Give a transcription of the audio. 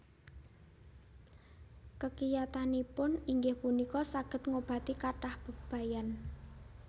Kekiyatanipun inggih punika saged ngobati kathah bebayan